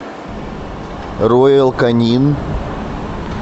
роял канин